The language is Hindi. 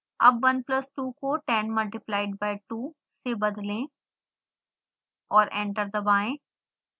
अब 1 plus 2 को 10 multiplied by 2 से बदलें और एंटर दबाएं